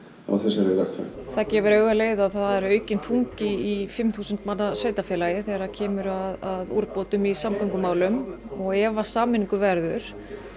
á þessari vegferð það gefur auga leið að það er aukinn þungi í fimm þúsund manna sveitarfélagi þegar kemur að úrbótum í samgöngumálum og ef af sameiningu verður